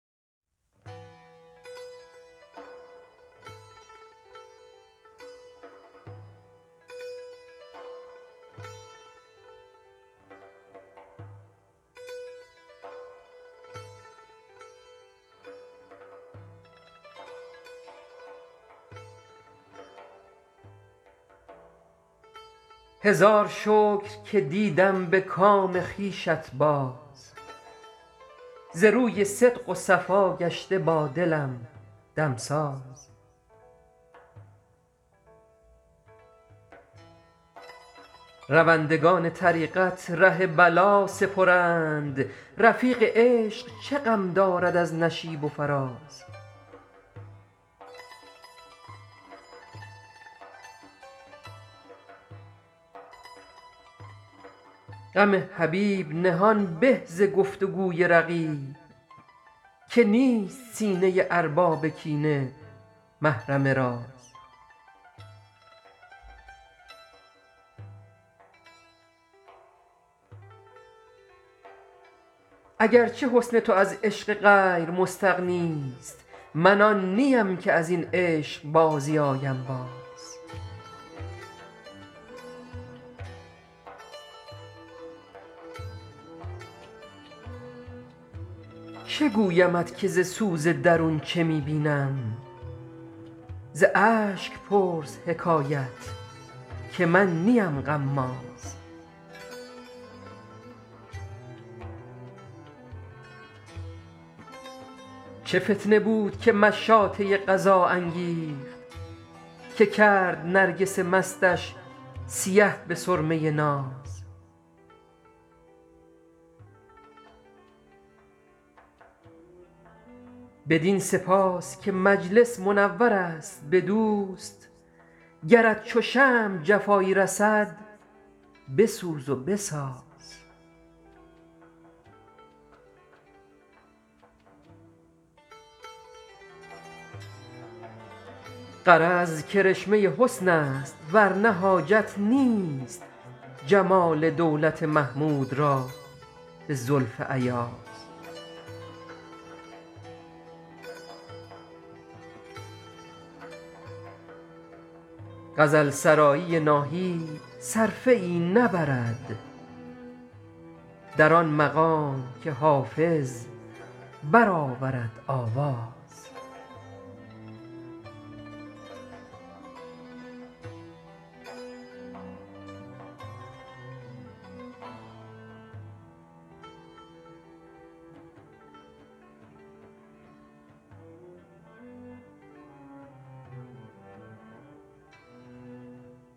هزار شکر که دیدم به کام خویشت باز ز روی صدق و صفا گشته با دلم دمساز روندگان طریقت ره بلا سپرند رفیق عشق چه غم دارد از نشیب و فراز غم حبیب نهان به ز گفت و گوی رقیب که نیست سینه ارباب کینه محرم راز اگر چه حسن تو از عشق غیر مستغنی ست من آن نیم که از این عشق بازی آیم باز چه گویمت که ز سوز درون چه می بینم ز اشک پرس حکایت که من نیم غماز چه فتنه بود که مشاطه قضا انگیخت که کرد نرگس مستش سیه به سرمه ناز بدین سپاس که مجلس منور است به دوست گرت چو شمع جفایی رسد بسوز و بساز غرض کرشمه حسن است ور نه حاجت نیست جمال دولت محمود را به زلف ایاز غزل سرایی ناهید صرفه ای نبرد در آن مقام که حافظ برآورد آواز